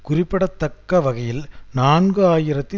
குறிப்பிடத்தக்க வகையில் நான்கு ஆயிரத்தி